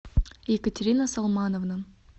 екатерина салмановна